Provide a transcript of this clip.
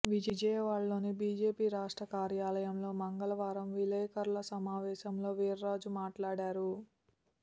విజయవాడలోని బీజేపీ రాష్ట్ర కార్యాలయంలో మంగళవారం విలేకరుల సమావేశంలో వీర్రాజు మాట్లాడారు